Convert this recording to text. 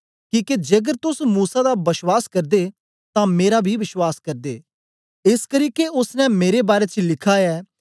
किके जेकर तोस मूसा दा बश्वास करदे तां मेरा बी बश्वास करदे एसकरी के ओसने मेरे बारै च लिखा ऐ